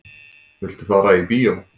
Viltu fara í bíó?